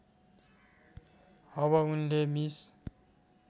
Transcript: अब उनले मिस